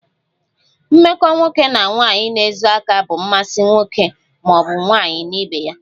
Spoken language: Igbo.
Mmekọ nwoke na nwaanyi na-ezo aka bụ mmasi nwoke maọbu nwaanyi na ibe ha